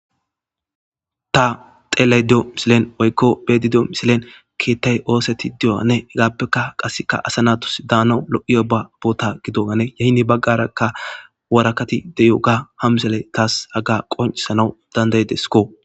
Ta xeley diyo misilen oykko bedidio misilen keettay ooseti diyo ane hegaappeka qasseka asa natus daana lo7iyo ba aboota gido gane yahini baggarakka warakati deyo ga hamsele taas hagga qoncisana dandaydesko.